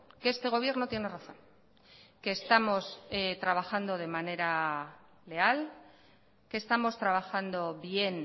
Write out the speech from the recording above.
que este gobierno tiene razón que estamos trabajando de manera leal que estamos trabajando bien